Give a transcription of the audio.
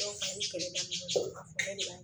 Dɔw fana bi kɛlɛ daminɛ dɔw ka fɛlɛ de b'a ɲɛ